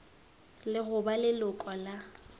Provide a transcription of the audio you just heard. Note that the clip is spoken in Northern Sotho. le go ba leloko la